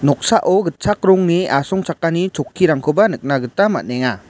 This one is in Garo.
noksao gitchak rongni asongchakani chokkirangkoba nikna gita man·enga.